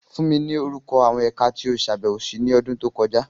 Fun mi ni orukọ awọn Ẹka ti o ṣabẹwo si ni ọdun to kọja!